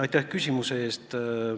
Aitäh küsimuse eest!